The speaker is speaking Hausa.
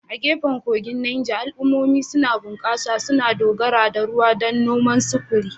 A gefen kogin Neja, al'ummomi suna bunƙasa, suna dogara da ruwan don noma, sufuri.